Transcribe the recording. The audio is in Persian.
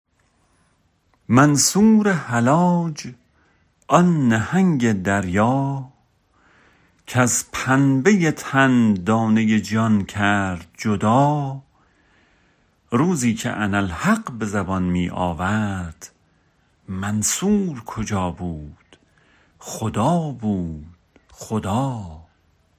منصور حلاج آن نهنگ دریا کز پنبه تن دانه جان کرد جدا روزی که انا الحق به زبان می آورد منصور کجا بود خدا بود خدا